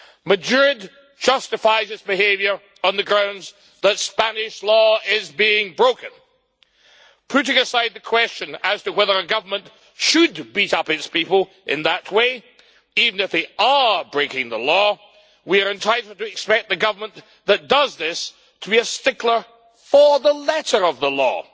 Madrid justifies its behaviour on the grounds that Spanish law is being broken. Putting aside the question as to whether a government should beat up its people in that way, even if they are breaking the law, we are entitled to expect the government that does this to be a stickler for the letter of the law.